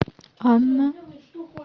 анна